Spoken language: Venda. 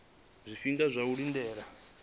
zwifhinga zwa u lindela ndi